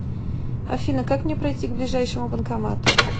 афина как мне пройти к ближайшему банкомату